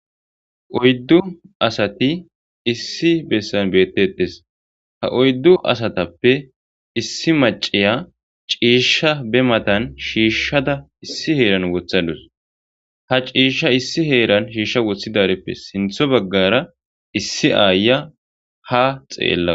oyddu asati issi bessan beettettes ha oyddu asatappe issi maceya ciisha be matan shiishshada issi heeran wothadus ha ciishsha issi heeran shiishsha wothidareppe sintho baggara issi aaya ha xeella